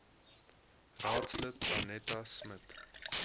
raadslid danetta smit